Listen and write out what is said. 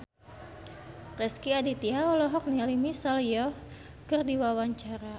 Rezky Aditya olohok ningali Michelle Yeoh keur diwawancara